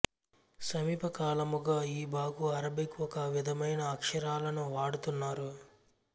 సమీపకాలముగా ఈ భాకు అరబిక్ ఒక విధమైన అక్షరాలను వాడుతున్నారు